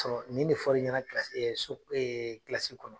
nin de fɔra ɲɛna ye so